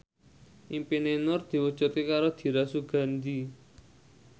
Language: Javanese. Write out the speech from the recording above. impine Nur diwujudke karo Dira Sugandi